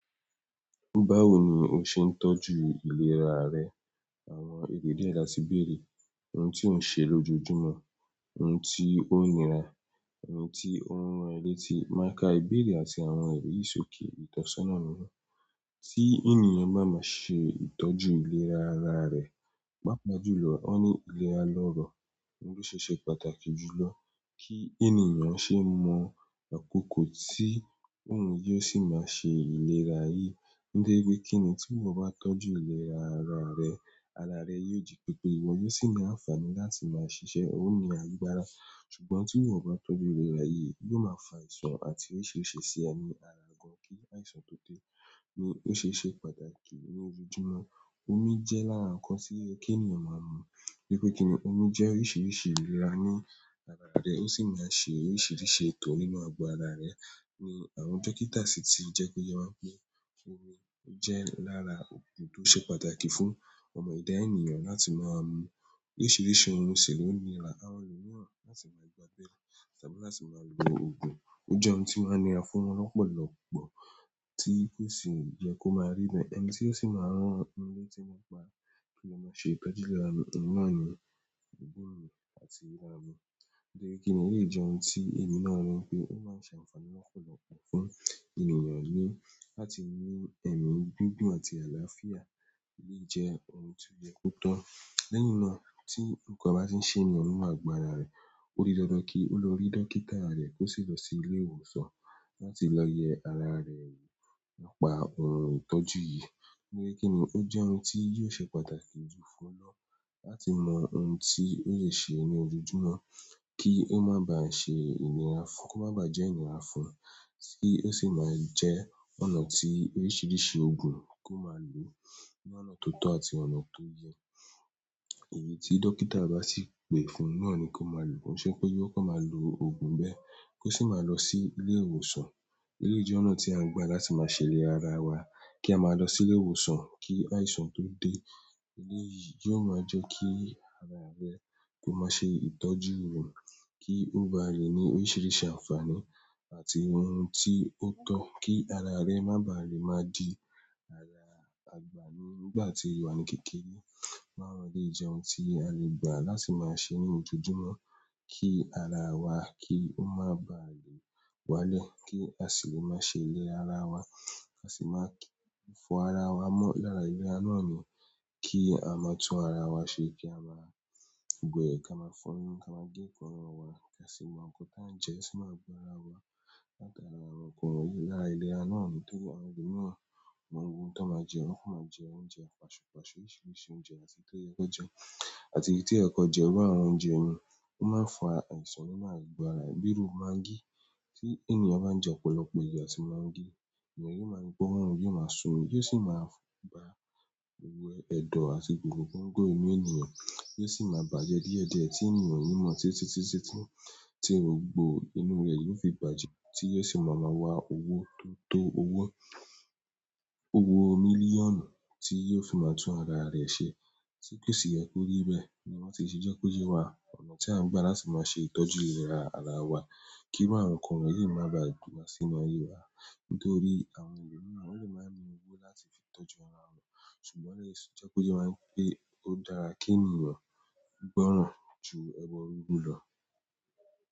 Báwo ni o ṣe ń tọ́jú ìlera rẹ? Àwọn ìbéèrè la ti béèrè. Ohun tí ò ń ṣe lójoojúmọ́, ohun tí ó nira, ohun tí ó ń rán ẹ létí. Máa ka ìbéèrè àti àwọn wọ̀nyí sókè, ìtọ́sọ́nà ni wọ́n. Tí ènìyàn bá máa ṣe ìtọ́jú ìlera ara rẹ̀, pàápàá jùlọ, wọ́n ní ìlera lọrọ̀, òun ló ṣe ṣe pàtàkì jùlọ kí ènìyàn ṣe ń mọ. Àkokò tí òun jẹ́ sì máa ṣe ìlera yíì, nítorí pé kíni, tí ìwọ bá tọ́jú ìlera ara rẹ, ara rẹ yóò jí pépé, ìwọ yóò sì ní àǹfààní láti máa ṣiṣẹ́, oó ní agbára. Ṣùgbọ́n tí ìwọ ò bá tọ́jú ìlera yìí, yóò máa fa àìsàn àti oríṣìíríṣìí sí ẹ ní ara gan-an kí àìsàn tó dé, ní ó ṣe ṣe pàtàkì ní ojoojúmọ́. Omi jẹ́ lára nǹkan tí ó yẹ kénìyàn máa mu, torí pé kíni, omi jẹ́ oríṣìíríṣìí ìlera ní ara rẹ, ó sì máa ń ṣe oríṣìíríṣìí ètò nínú àgọ́ ara rẹ. Àwọn dókítà sì ti jẹ́ kó yé wa ńpé omi ó jẹ́ lára òògùn tó ṣe pàtàkì fún ọmọ ẹ̀dá ènìyàn láti máa mú oríṣìíríṣìí ohun sì ló nira. Àwọn ènìyàn láti máa gbàgbé ẹ̀, ṣàbẹ̀wọ̀ láti máa lo òògùn, ó jẹ́ ohun tí ó máa ń ní àfúnú lọ́pọ̀lọ́pọ̀ tí kò sì jẹ́ kó máa rí bẹ́ẹ̀, ẹni tí ó sì máa rán ní ohun tí wọn pa kí lọ máa ṣe ìtọ́jú ìlera mìíràn ní gbóòórùn àti ìlera mìíràn. Nígbẹ́kíni èyí jẹ́ ohun tí èmi náà mọ̀ pé ó máa ń ṣe àǹfààní lọ́pọ̀lọ́pọ̀ fún ènìyàn ni láti mú ẹ̀mí dúdú àti àlàáfíà lè jẹ́ ohun tí ó yẹ kó tó. Lẹ́yìn náà tí nǹkan bá ti ń ṣènìyàn nínú àgọ́ ara rẹ̀. Ó di dandan kí ó lọ rí dókítà rẹ̀ kó sì lọ sí ilé ìwòsàn láti lọ yẹ ara rẹ̀ nípa ohun ìtọ́jú yìí. Nígbẹ́kíni ó jẹ́ ohun tí yóò ṣe pàtàkì jù fún ọ lọ́la láti mọ ohun tí ó lè ṣe ní ojoojúmọ́ kí ó má ba à ṣe ìnira fún, kó má ba à jẹ́ ìnira fún, tí ó sì máa jẹ́ ọ̀nà tí oríṣìíríṣìí òògùn kó máa lòó ní ọ̀nà tó tọ́ àti ọ̀nà tó yẹ. Èyí tí dókítà bá sì pè fún náà ni kó máa lò. Kò ń ṣe ńpé yóò kàn máa lo òògùn bẹ́ẹ̀ kó sì máa lọ sí ilé ìwòsàn. Eléyìí jẹ́ ọ̀nà tí à ń gbà láti máa ṣèlera ara wa. Kí a máa lọ sílé ìwòsàn kí àìsàn tó dé. Eléyìí yóò máa jẹ́ kí ara rẹ kó má ṣe ìtọ́jú ìwọ̀n, kí ó bá rí ní oríṣiríṣi àǹfààní àti ohun tí ó tọ́ kí ara rẹ má bà á lè má di ara àgbà nígbà tí o wà ni kékeré. Náà ló jẹ́ ohun tí a lè gbà láti máa ṣe ní ojoojúmọ́ kí ara wa, kí ó má ba à lè wálẹ̀, kí a sì lè máa ṣe lè ara wa, a sì máa fọ ara wa mọ́ lára ìlera náà ni kí a má tún ara wa ṣe kí a má wẹ̀, ká má fọnú, ká má gé èékánná wa ká sì mọ nǹkan tí à ń jẹ sínú àgọ́ ara wa láti ara àwọn nǹkan lára ìlera náà ni tó àwọn ẹlòmìíràn máa ń gùn tó máa jẹ, wọ́n kò máa jẹ oúnjẹ pàṣùpáṣù, oríṣiríṣi oúnjẹ àti tó yẹ kó jẹ àti tí ẹ kò jẹ bá àwọn oúnjẹ mìíràn, ó máa ń fa àìsàn, ó máa ń gbọ́ ara, bíi rú magí tí ènìyàn bá ń jẹ ọ̀pọ̀lọpọ̀ iyọ̀ àti magí, èèyàn yóò máa gbọ́ wọ́n, yóò máa sunmi yóò sì máa ba wẹ ẹ̀dọ̀ àti gòòrò tó ń gùn inú ènìyàn yóò sì máa bàjẹ́ díẹ̀díẹ̀ ẹ́ tí ènìyàn ò ní mọ̀ tí í ti ṣiṣẹ́ tán tí gbogbo inú rẹ̀ yóò fi bàjẹ́ tí yóò sì máa máa wa owó tó tó owó mílíọ̀nù tí yóò fi máa tún ara rẹ̀ ṣe tí kò sì yẹ kó rí bẹ́ẹ̀ ni wọ́n sì ti jẹ́ kó yẹ wá ọ̀nà tí à ń gbà láti máa ṣe ìtọ́jú ìlera ara wa kírú àwọn nǹkan wọ̀nyí má baà wá sínú ayé wa. Nítorí àwọn ẹlòmìíràn wọ́n lè máa mu owó láti fi tọ́jú ara wọn. Ṣùgbọ́n ó lè ṣe jẹ́ kó yẹ máa ń pe ó dára kí ènìyàn gbọ́ràn ju ẹbọ rúrú lọ.